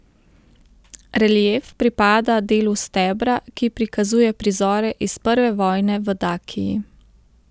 Relief pripada delu stebra, ki prikazuje prizore iz prve vojne v Dakiji.